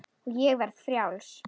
Og ég verði frjáls.